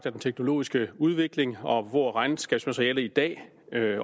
af den teknologiske udvikling hvor regnskabsmateriale i dag